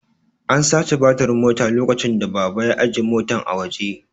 An sace batirin Mota lokacin da baba ya ajiye Motan a waje